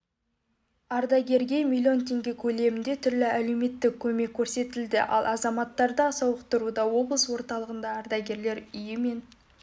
ардагерге миллион теңге көлемінде түрлі әлеуметтік көмектеркөрсетілді ал азаматтарды сауықтыруда облыс орталығындағы ардагерлер үйі мен